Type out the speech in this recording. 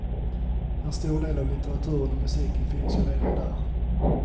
En stor del av litteraturen och musiken finns ju redan där.